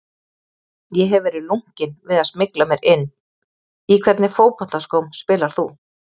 Ég hef verið lunkinn við að smygla mér inn Í hvernig fótboltaskóm spilar þú?